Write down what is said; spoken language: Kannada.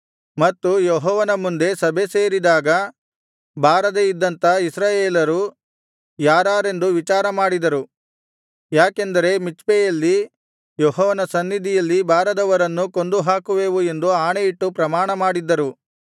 ಮತ್ತು ಯೆಹೋವನ ಮುಂದೆ ಸಭೆ ಸೇರಿದಾಗ ಬಾರದೆ ಇದ್ದಂಥ ಇಸ್ರಾಯೇಲರು ಯಾರಾರೆಂದು ವಿಚಾರಮಾಡಿದರು ಯಾಕೆಂದರೆ ಮಿಚ್ಪೆಯಲ್ಲಿ ಯೆಹೋವನ ಸನ್ನಿಧಿಗೆ ಬಾರದವರನ್ನು ಕೊಂದು ಹಾಕುವೆವು ಎಂದು ಆಣೆಯಿಟ್ಟು ಪ್ರಮಾಣಮಾಡಿದ್ದರು